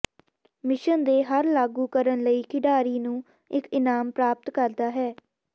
mission ਦੇ ਹਰ ਲਾਗੂ ਕਰਨ ਲਈ ਖਿਡਾਰੀ ਨੂੰ ਇੱਕ ਇਨਾਮ ਪ੍ਰਾਪਤ ਕਰਦਾ ਹੈ